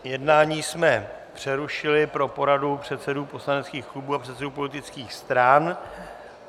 Jednání jsme přerušili pro poradu předsedů poslaneckých klubů a předsedů politických stran.